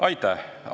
Aitäh!